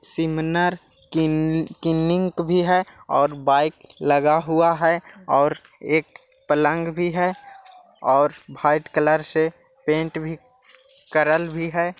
सिमरना कील किलीनिक भि है और बाइक लगा हुआ है और एक पलंग भी है और वाईट कलर से पेन्ट भी करल भी है।